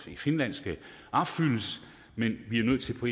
finland skal opfyldes men vi er nødt til på